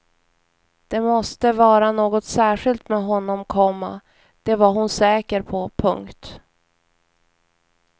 Det måste vara något särskilt med honom, komma det var hon säker på. punkt